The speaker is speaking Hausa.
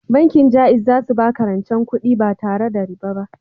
Bankin Jaiz za su baka rancen kudi ba tare da riba ba